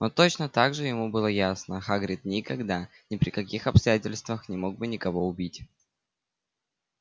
но точно так же ему было ясно хагрид никогда ни при каких обстоятельствах не мог бы никого убить